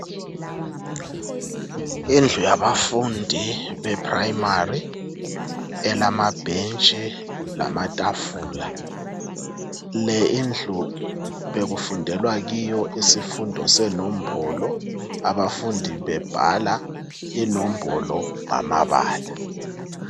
Indlu yabafundi be primary elamabhentshi lamatafula le indlu bekufundelwa kiyo isifundo senombolo , abafundi bebebhala inombolo ngamabala